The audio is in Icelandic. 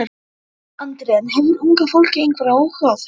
Andri: En hefur unga fólkið einhvern áhuga á þessu?